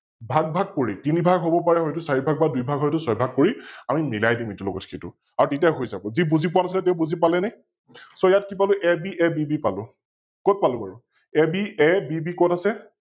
ভাগ ভাগ কৰি তিনি ভাগ হব পাৰে হয়তো চাৰি ভাগ বা দুই ভাগ হয়তো ছয় ভাগ কৰি আমি মিলাই দিম ইটোৰ লগত সিটো আৰু তেতিয়া হৈ যাৱ । যি বুজি পোৱা নাছিলে তেও বুজি পালেনে? So ইয়াত কি পালো AB, ABB পালো, কত পালো বাৰু? ABABB কত আছে?